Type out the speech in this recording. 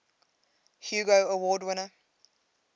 hugo award winner